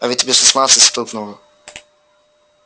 а ведь тебе шестнадцать стукнуло